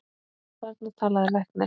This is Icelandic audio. Og þarna talaði læknir.